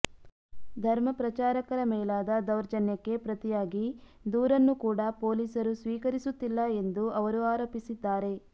ಧರ್ಮಪ್ರಚಾರಕರ ಮೇಲಾದ ದೌರ್ಜನ್ಯಕ್ಕೆ ಪ್ರತಿಯಾಗಿ ದೂರನ್ನು ಕೂಡ ಪೊಲೀಸರು ಸ್ವೀಕರಿಸುತ್ತಿಲ್ಲ ಎಂದು ಅವರು ಆರೋಪಿಸಿದ್ದಾರೆ